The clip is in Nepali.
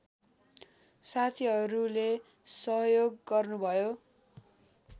साथीहरूले सहयोग गर्नुभयो